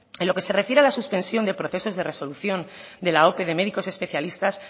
en lo que se refiere a la suspensión de procesos de resolución de la ope de médicos especialistas